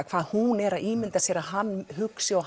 hvað hún er að ímynda sér að hann hugsi og